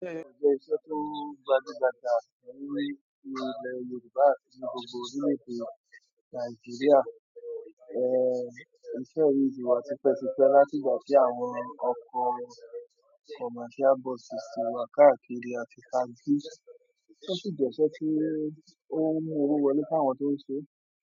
Ó jé iṣẹ́ tó gbajúgbajà lórí ilẹ̀ Yorùbá àti gbogbo orílẹ̀-èdè Nàìjíríà. Iṣẹ́ yìí ti wà ti pẹ́ ti pẹ́, láti ìgbà tí àwọn ọkọ̀ commercial buses ti wà káàkiri àti taxí. Ó sì jẹ́ iṣẹ́ tí ó ń mú owó wọlé fún àwọn tó ń ṣe é.